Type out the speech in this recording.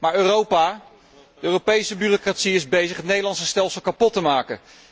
Maar Europa, de Europese bureaucratie is bezig het Nederlandse stelsel kapot te maken.